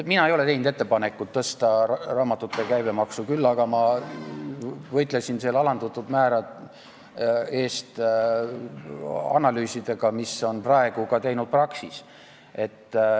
Mina ei ole teinud ettepanekut tõsta raamatute käibemaksu, küll aga võitlesin ma alandatud määra eest analüüsidega, mida on praegu teinud ka Praxis.